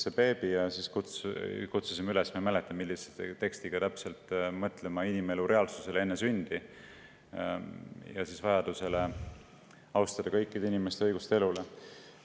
Kampaania käigus me kutsusime üles – ma ei mäleta, millise tekstiga täpselt – mõtlema inimelu reaalsusele enne sündi ja vajadusele austada kõikide inimeste õigust elule.